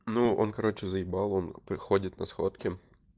ну он короче заебал он приходит на сходки